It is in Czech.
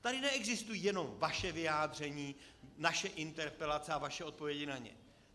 Tady neexistují jenom vaše vyjádření, naše interpelace a vaše odpovědi na ně.